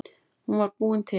Hún var búin til.